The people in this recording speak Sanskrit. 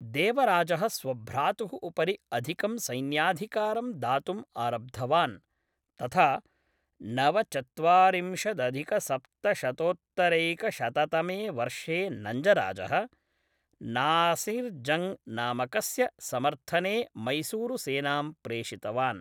देवराजः स्वभ्रातुः उपरि अधिकं सैन्याधिकारं दातुम् आरब्धवान्, तथा नवचत्वारिंशदधिकसप्तशतोत्तरैकशततमे वर्षे नञ्जराजः, नासिर्जङ्ग् नामकस्य समर्थने मैसूरुसेनां प्रेषितवान्।